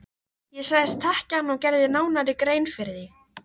Ég sagðist þekkja hann og gerði nánari grein fyrir því.